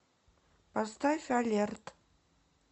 поставь алерт